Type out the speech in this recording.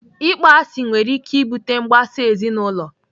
Ịkpọ asị nwere ike ibute mgbasa ezinaụlọ.